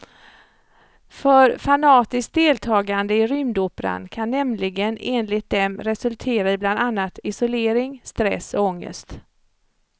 För fanatiskt deltagande i rymdoperan kan nämligen enligt dem resultera i bland annat isolering, stress och ångest.